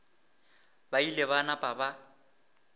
ba ile ba napa ba